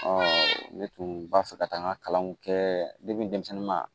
ne tun b'a fɛ ka taa n ka kalanw kɛ denmisɛnnu ma